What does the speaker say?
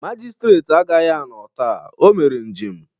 Magịstretị agaghị anọ taa, o mere njem